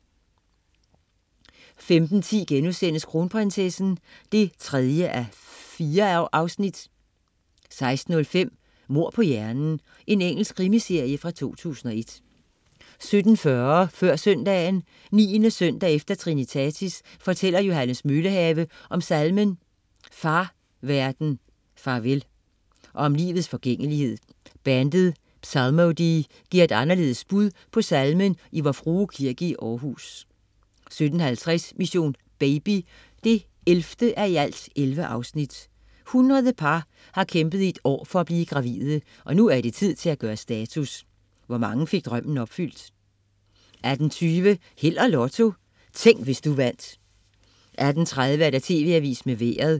15.10 Kronprinsessen 3:4* 16.05 Mord på hjernen. Engelsk krimiserie fra 2001 17.40 Før søndagen. 9. søndag efter trinitatis fortæller Johannes Møllehave om salmen "Far, verden, far vel", og om livets forgængelighed. Bandet "Psalmodie" giver et anderledes bud på salmen i Vor Frue Kirke i Aarhus 17.50 Mission: Baby 11:11. 100 par har kæmpet i et år for at blive gravide, og nu er det tid til at gøre status: Hvor mange fik drømmen opfyldt? 18.20 Held og Lotto. Tænk, hvis du vandt 18.30 TV Avisen med Vejret